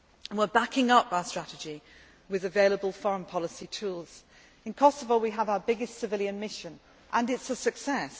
We are backing up our strategy with available foreign policy tools. In Kosovo, we have our biggest civilian mission and it is a success.